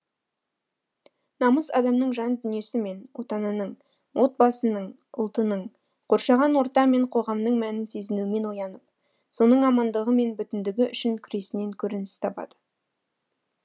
намыс адамның жан дүниесі мен отанының отбасының ұлтының қоршаған орта мен қоғамының мәнін сезінуімен оянып соның амандығы мен бүтіндігі үшін күресінен көрініс табады